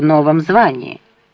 новом звании